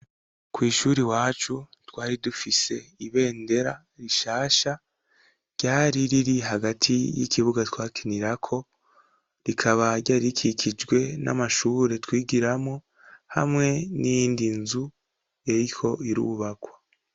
Kw'ishure wacu twari dufise ibendera rishasha ryari riri hagati y'ikibuga twakenira ko rikaba ryarikikijwe n'amashure twigiramo hamwe n'indi nzu eriko irubakwa.